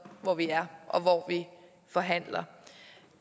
hvor vi er og hvor vi forhandler